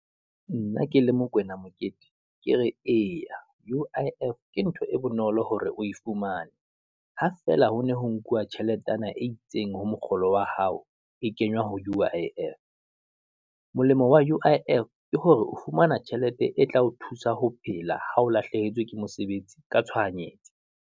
Nna ke le Mokwena Mokete, ke re eya U_I_F ke ntho e bonolo hore o e fumane, ha feela ho ne ho nkuwa tjheletenyana e itseng ho mokgolo wa hao e kenywa U_I_F. Molemo wa U_I_F ke hore o fumana tjhelete e tla o thusa ho phela, ha o lahlehetswe ke mosebetsi ka tshohanyetso.